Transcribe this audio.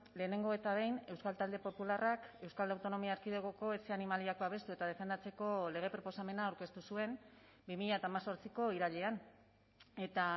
lehenengo eta behin euskal talde popularrak euskal autonomia erkidegoko etxe animaliak babestu eta defendatzeko lege proposamena aurkeztu zuen bi mila hemezortziko irailean eta